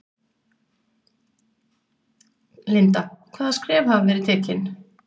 Linda: Hvaða skref hafa verið tekin?